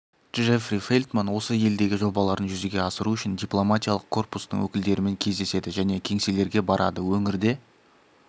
джеффри фелтман осы елдегі жобаларын жүзеге асыру үшін дипломатиялық корпустың өкілдерімен кездеседі және кеңселерге барады өңірде